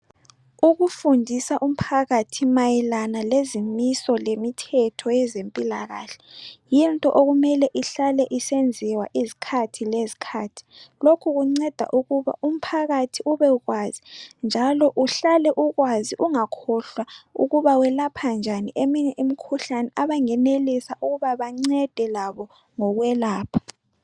Ukufundisa umphakathi mayelana lezimisi lemithetho yezempilakahle yinto okumele ihlale isenziwa izikhathi lezikhathi lokhu kunceda ukuba umphakathi ubekwazi njalo uhlale ukwazi ungakhohlwa ukuba welapha njani eminye imkhuhlane abangenelisa ukuba banceda labo ngokwelapha.